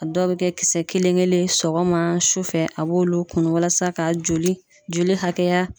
A dɔw bi kɛ kisɛ kelen kelen sɔgɔma su fɛ a b'olu kunun walasa ka joli joli hakɛya